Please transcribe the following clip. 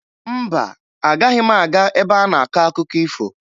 Mba, agaghị m aga ebe a na-akọ akụkọ ifo